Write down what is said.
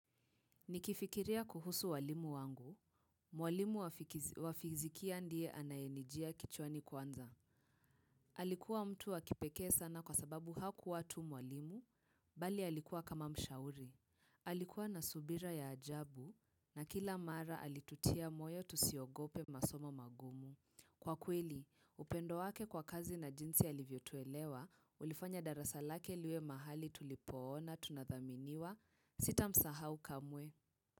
Nikifikiria kuhusu walimu wangu, mwalimu wafizikia ndiye anayenijia kichwani kwanza. Alikuwa mtu wa kipekee sana kwa sababu hakua tu mwalimu, bali alikuwa kama mshauri. Alikuwa na subira ya ajabu na kila mara alitutia moyo tusiogope masomo magumu. Kwa kweli, upendo wake kwa kazi na jinsi alivyotuelewa, ulifanya darasa lake liwe mahali tulipoona tunathaminiwa sita msahau kamwe.